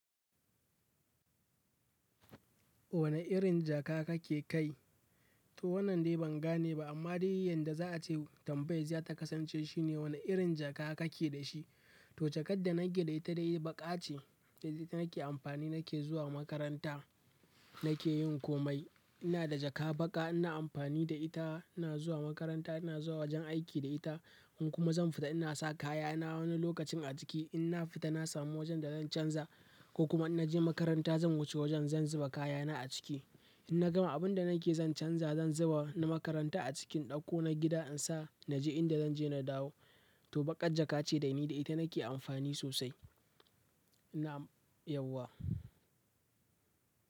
Wane irin jaka kake kai? To wannan dai ban gane ba amma dai yanda za a ce tambayar ta kasance shine wane irin jaka kake da shi? To jakar da na gida ita dai baƙa ce, ita nake amfani nake zuwa makaranta, nake yin komai. Ina da jaka baƙa ina amfani da ita, ina zuwa makaranta, ina zuwa wajen aiki da ita in kuma zan fita ina sa kayana wani lokacin a ciki. In na fita na samu wajen da zan canza ko kuma in naje makaranta zan wuce wajen zan zuba kayana a ciki. In na gama abin da nake zan canza zan zuba na makaranta a cikin in ɗakko na gida in sa naje inda zanje na dawo. To baƙar jaka ce dai ni da ita nake amfani sosai. Ina, yauwa.